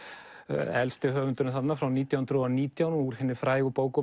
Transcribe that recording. elsti höfundurinn þarna frá nítján hundruð og nítján úr hinni frægu bók